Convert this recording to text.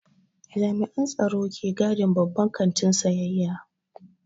Jami'an tsaro ke gadin babban kantin sayayya.